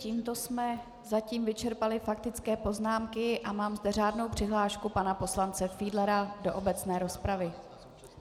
Tímto jsme zatím vyčerpali faktické poznámky a mám zde řádnou přihlášku pana poslance Fiedlera do obecné rozpravy.